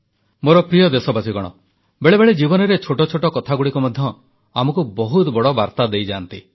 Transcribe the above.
ମୋର ପ୍ରିୟ ଦେଶବାସୀଗଣ ବେଳେବେଳେ ଜୀବନରେ ଛୋଟ ଛୋଟ କଥାଗୁଡ଼ିକ ମଧ୍ୟ ଆମକୁ ବହୁତ ବଡ଼ ବାର୍ତ୍ତା ଦେଇଯାଆନ୍ତି